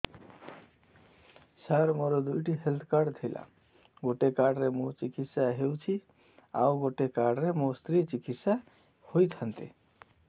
ସାର ମୋର ଦୁଇଟି health card ଥିଲା ଗୋଟେ କାର୍ଡ ରେ ମୁଁ ଚିକିତ୍ସା ହେଉଛି ଆଉ ଗୋଟେ କାର୍ଡ ରେ ମୋ ସ୍ତ୍ରୀ ଚିକିତ୍ସା ହୋଇଥାନ୍ତେ